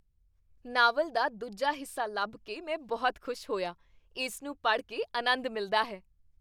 Novel ਦਾ ਦੂਜਾ ਹਿੱਸਾ ਲੱਭ ਕੇ ਮੈਂ ਬਹੁਤ ਖੁਸ਼ ਹੋਇਆ। ਇਸ ਨੂੰ ਪੜ੍ਹ ਕੇ ਅਨੰਦ ਮਿਲਦਾ ਹੈ।